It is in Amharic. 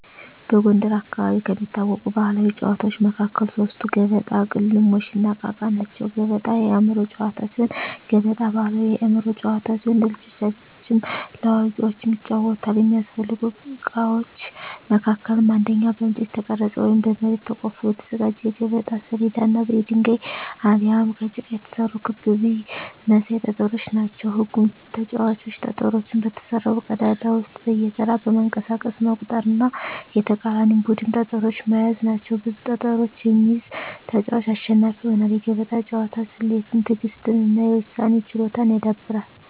በጎንደር አካባቢ ከሚታወቁ ባሕላዊ ጨዋታዎች መካከል ሶስቱ ገበጣ፣ ቅልሞሽ፣ እና እቃ እቃ ናቸው። ገበጣ የአእምሮ ጨዋታ ሲሆን ገበጣ ባሕላዊ የአእምሮ ጨዋታ ሲሆን ለልጆችም ለአዋቂዎችም ይጫወታል። የሚያስፈልጉ እቃዎች መካከልም አንደኛ በእንጨት የተቀረጸ ወይም በመሬት ተቆፍሮ የተዘጋጀ የገበጣ ሰሌዳ እና የድንጋይ አሊያም ከጭቃ የተሰሩ ክብ ብይ መሳይ ጠጠሮች ናቸው። ህጉም ተጫዋቾች ጠጠሮቹን በተሰራው ቀዳዳ ውስጥ በየተራ በማንቀሳቀስ መቁጠር እና የተቃራኒን ቡድን ጠጠሮች መያዝ ናቸው። ብዙ ጠጠሮችን የሚይዝ ተጫዋች አሸናፊ ይሆናል። የገበጣ ጨዋታ ስሌትን፣ ትዕግሥትን እና የውሳኔ ችሎታን ያዳብራል።